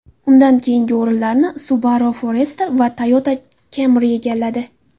Undan keyingi o‘rinlarni Subaru Forester va Toyota Camry egalladi.